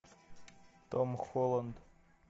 том холланд